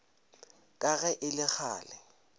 ka ge e le kgale